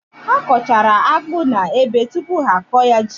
Ha kọchara akpụ n’ebe tupu ha akọ ya ji